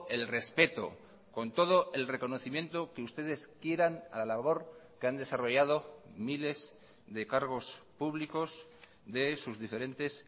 el respeto con todo el reconocimiento que ustedes quieran a la labor que han desarrollado miles de cargos públicos de sus diferentes